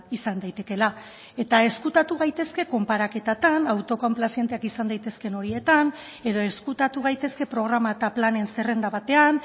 izan daitekeela eta ezkutatu gaitezke konparaketetan autokonplazenteak izan daitezkeen horietan edo ezkutatu gaitezke programa eta planen zerrenda batean